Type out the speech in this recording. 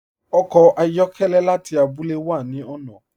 Ọkọ ayọkẹlẹ láti àbúlẹ̀ wà ni ọ̀nà.